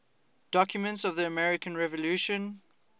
documents of the american revolution